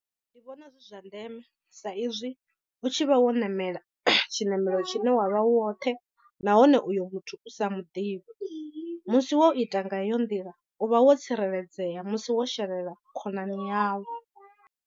Ndi vhona zwi zwa ndeme sa izwi hu tshi vha wo ṋamela tshinamelo tshine wa vha u woṱhe nahone uyo muthu u sa muḓivhi musi wo ita nga iyo nḓila u vha wo tsireledzea musi wo sherela khonani yau.